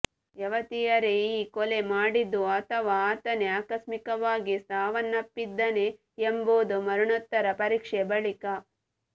ಯವತಿಯರೇ ಈ ಕೊಲೆ ಮಾಡಿದ್ದೋ ಅಥವಾ ಆತನೇ ಆಕಸ್ಮಿಕವಾಗಿ ಸಾವನ್ನಪ್ಪಿದನೇ ಎಂಬುದು ಮರಣೋತ್ತರ ಪರೀಕ್ಷೆ ಬಳಿಕ